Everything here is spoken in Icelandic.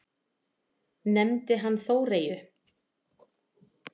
Nefndi hann Þóreyju?